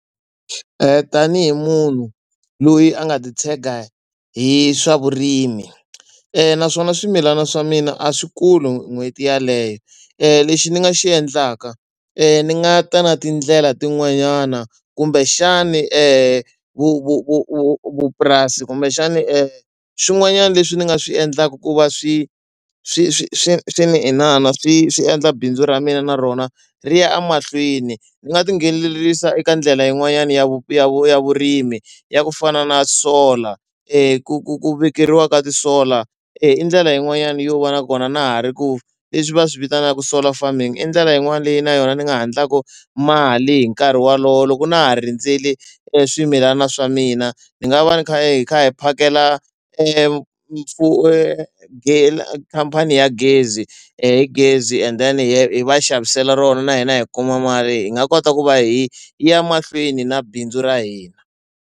Tanihi munhu loyi a nga titshega hi swa vurimi naswona swimilana swa mina a swi kuli n'hweti yeleyo lexi ni nga xi endlaka ni nga ta na tindlela tin'wanyana kumbexani vu vu vu vu vu vupurasi kumbexani swin'wanyana leswi ni nga swi endlaka ku va swi swi swi swi swi ni inana swi swi endla bindzu ra mina na rona ri ya emahlweni. Ni nga tinghenelerisa eka ndlela yin'wanyana ya va ya va ya vurimi ya ku fana na solar ku ku ku vekeriwa ka ti-solar i ndlela yin'wani yo va na kona na ha ri ku leswi va swi vitanaka solar farming i ndlela yin'wana leyi na yona ni nga ha endlaku mali hi nkarhi wolowo loko na ha rindzele e swimilana swa mina ni nga va hi kha hi kha hi phakela khampani ya gezi hi gezi and then hi va xavisela rona na hina hi kuma mali hi nga kota ku va hi ya mahlweni na bindzu ra hina.